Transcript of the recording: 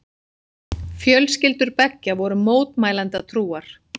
Fjölskyldur beggja voru mótmælendatrúar.